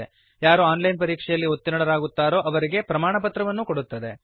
ಹಾಗೂ online ಪರೀಕ್ಷೆಯಲ್ಲಿ ಉತ್ತೀರ್ಣರಾದವರಿಗೆ ಪ್ರಮಾಣಪತ್ರವನ್ನು ಕೊಡುತ್ತದೆ